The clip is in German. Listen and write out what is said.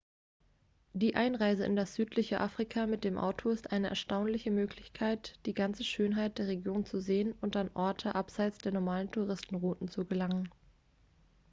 die einreise in das südliche afrika mit dem auto ist eine erstaunliche möglichkeit die ganze schönheit der region zu sehen und an orte abseits der normalen touristenrouten zu gelangen